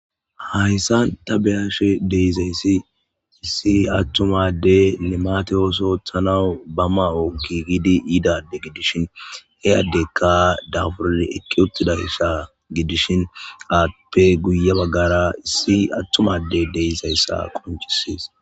Hayisani ta beyashe deizayisi issi atuma limate adeyi ooththo oththanawu ba mayo mayanawu gigidi yida ade gididi dishini he adeyika daburidi eqi utidayisa gudishini appe guye bagara atuma adeyi deizayisa qoncisesi